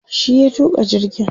shi ya tuka jirgin